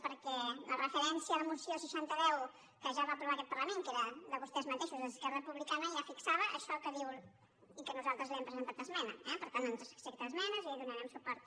perquè la referència a la moció seixanta x que ja va aprovar aquest parlament que era de vostès mateixos d’esquerra republicana ja fixava això que diu i a què nosaltres li hem presentat esmena eh per tant ens accepta esmenes i hi donarem suport